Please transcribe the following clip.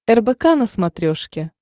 рбк на смотрешке